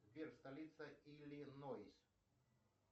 сбер столица иллинойс